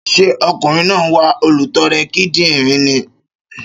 Ṣé ọkùnrin náà ń wá olùtọrẹ kidinrin ni?